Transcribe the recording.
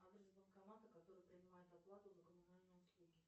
адрес банкомата который принимает оплату за коммунальные услуги